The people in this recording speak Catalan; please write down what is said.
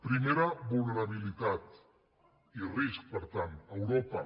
primera vulnerabilitat i risc per tant europa